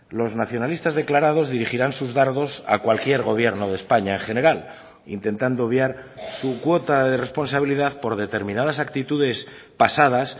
los nacionalistas declarados dirigirán sus dardos a cualquier gobierno de españa en general intentando obviar su cuota de responsabilidad por determinadas actitudes pasadas